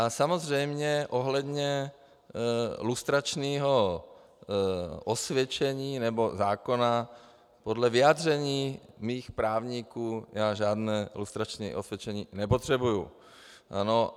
A samozřejmě ohledně lustračního osvědčení nebo zákona, podle vyjádření mých právníků já žádné lustrační osvědčení nepotřebuji.